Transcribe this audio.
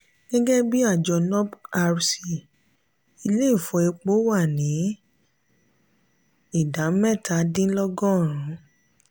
gẹ́gẹ́bí àjọ nuprc ilé ìfọ epo náà wá ní idà mẹ́ta dín lógo rùn.